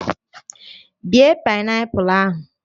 Bee paịnapụl ahụ!